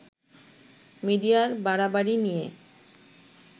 মিডিয়ার বাড়াবাড়ি নিয়ে